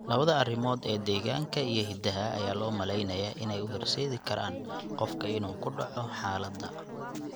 Labada arrimood ee deegaanka iyo hidaha ayaa loo maleynayaa inay u horseedi karaan qofka inuu ku dhaco xaaladda.